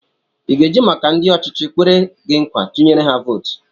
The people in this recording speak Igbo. I ga-eji maka na ndị ọchịchị kwere gị nkwa, tụnyere ha vootu?